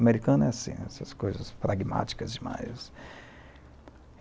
Americano é assim, essas coisas pragmáticas demais.